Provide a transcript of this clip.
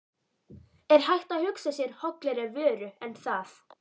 Er hægt að hugsa sér hollari vöru en það?